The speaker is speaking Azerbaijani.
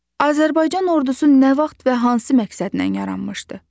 Azərbaycan ordusu nə vaxt və hansı məqsədlə yaranmışdı?